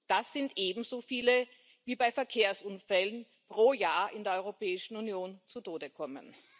Das sind ebenso viele, wie bei Verkehrsunfällen pro Jahr in der Europäischen Union zu Tode kommen.